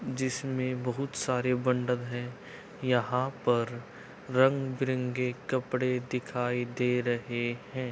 जिसमे बोहोत सारे बण्डल है। यहाँ पर रंग-बिरंगे कपडे दिखाई दे रहे हैं।